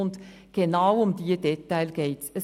Genau um diese Details geht es.